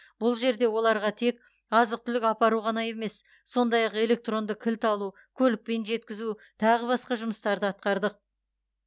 бұл жерде оларға тек азық түлік апару ғана емес сондай ақ электронды кілт алу көлікпен жеткізу тағы басқа жұмыстарды атқардық